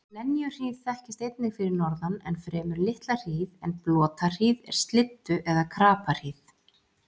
Lenjuhríð þekkist einnig fyrir norðan um fremur litla hríð en blotahríð er slyddu- eða krapahríð.